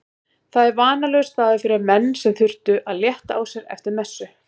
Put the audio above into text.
Það var vanalegur staður fyrir menn sem þurftu að létta á sér eftir messu.